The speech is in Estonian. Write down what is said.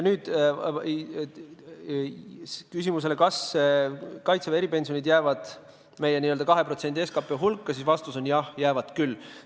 Küsimuse, kas Kaitseväe eripensionid jäävad meie n-ö 2% SKT hulka, vastus on: jah, jäävad küll.